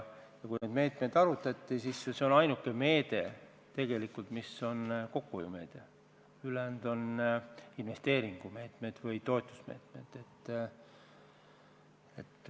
Ja kui neid meetmeid arutati, siis tegelikult see oli ainuke meede, mis on kokkuhoiumeede, ülejäänud on investeeringu- või toetusmeetmed.